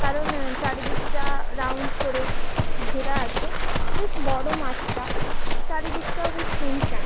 কারণ উম চারিদিকটা রাউন্ড করে ঘেরা আছে বেশ বড় মাঠটা চারিদিকটাও বেশ শুনশান ।